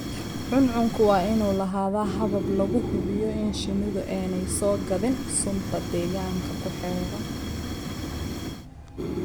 Cuncunku waa inuu lahaadaa habab lagu hubiyo in shinnidu aanay soo gaadhin sunta deegaanka ku xeeran.